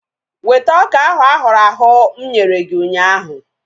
Weta ọka ahu ahụrụ ahụ̀ mụ nyere gị ụnyaahụ!